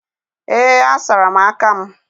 Ee, asara m aka m